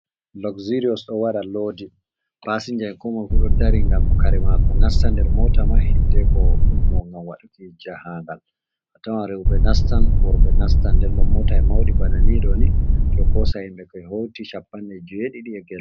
"Luxerius" ɗo waɗa loodi paasinja, koo moy fu ɗo dari ngam kare maako nasta nder moota man, hiddeeko ummo ngam waɗuki jahaagal. A tawan rewɓe nastan worbe nastan nden bo mootaaji mawɗi bana nii ɗoo ni ɗo koosa himɓe ko hewti cappanɗe jeeɗiɗi e gelɗe.